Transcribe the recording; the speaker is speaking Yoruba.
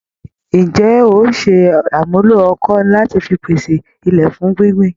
Ǹjé óò ṣe àmúlò ọkọ́ lati fi pese ilẹ̀ fún gbíngbìn